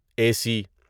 اے سی